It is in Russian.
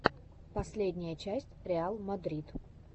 последняя часть реал мадрид